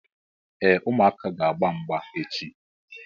Ee, ụmụaka ga agba mgba echi